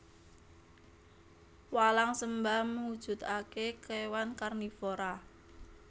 Walang sembah mujudake kewan karnivora